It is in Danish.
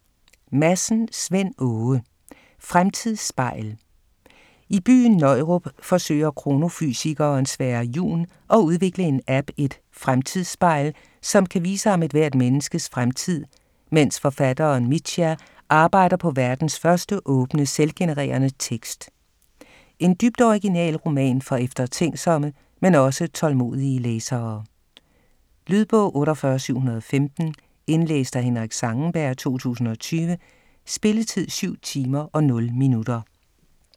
Madsen, Svend Åge: Fremtidsspejl I byen Nøjrup forsøger kronofysikeren Sverre Jun at udvikle en app, et "fremtidsspejl", som kan vise ham ethvert menneskes fremtid, mens forfatteren Mithya arbejder på verdens første åbne, selvgenerende tekst. En dybt original roman for eftertænksomme, men også tålmodige læsere. Lydbog 48715 Indlæst af Henrik Zangenberg, 2020. Spilletid: 7 timer, 0 minutter.